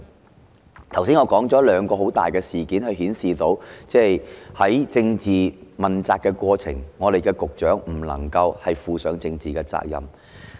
我剛才指出了兩次大型事件，顯示局長在政治問責過程中沒有承擔政治責任。